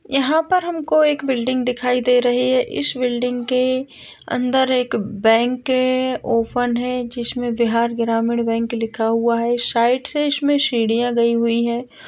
यहाँ पर हमको एक बिल्डिंग दिखाई दे रही है| इस बिल्डिंग के अंदर एक बैंक ओफन है जिसमें बिहार ग्रामीण बैंक लिखा हुआ है साइड शे इसमें सीढ़ियाँ गई हुई हैं।